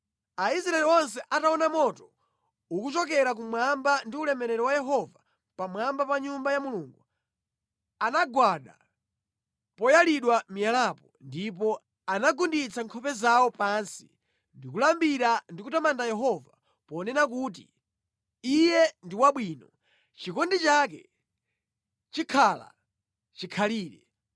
Aisraeli onse ataona moto ukuchokera kumwamba ndi ulemerero wa Yehova pamwamba pa Nyumba ya Mulungu, anagwada poyalidwa miyalapo ndipo anagunditsa nkhope zawo pansi, ndi kulambira ndi kutamanda Yehova, ponena kuti, “Iye ndi wabwino; chikondi chake chikhala chikhalire”